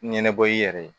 Ɲɛnabɔ i yɛrɛ ye